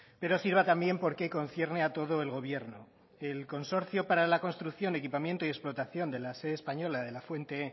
pero sirva también porque concierne a todo el gobierno el consorcio para la construcción equipamiento y explotación de la sede española de la fuente